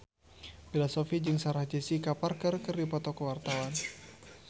Bella Shofie jeung Sarah Jessica Parker keur dipoto ku wartawan